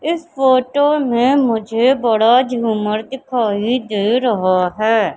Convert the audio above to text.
इस फोटो में मुझे बड़ा झूमर दिखाई दे रहा है।